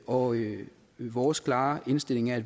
og vores klare indstilling er